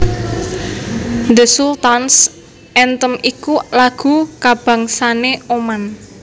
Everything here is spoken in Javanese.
The Sultan s Anthem iku lagu kabangsané Oman